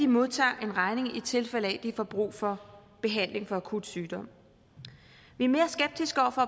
modtager en regning i tilfælde af at de får brug for behandling for akut sygdom vi er mere skeptiske over for